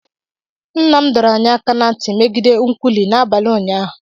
Nna m dọrọ anyị aka ná ntị megide nkwụlụ n'abalị ụnyaahụ